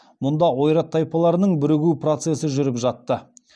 мұнда ойрат тайпаларының бірігіу процесі жүріп жатты